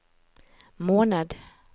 måned